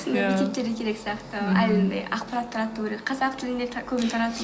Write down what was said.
сондай мектептерге керек сияқты ақпарат тарату керек қазақ тілінде көбіне